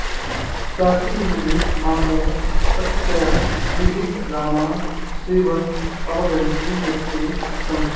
प्राचीनयुगे मानवः प्रकृत्याः विविधनादान् शृण्वन् अवगन्तुं यतते स्म